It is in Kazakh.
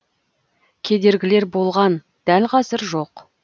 кедергілер болған дәл қазір жоқ